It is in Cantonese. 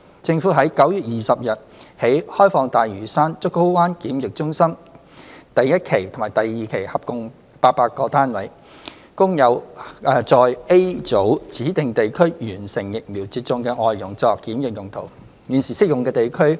政府於9月20日起開放大嶼山竹篙灣檢疫中心第一期及第二期合共800個單位，供在 A 組指明地區完成疫苗接種的外傭作檢疫用途。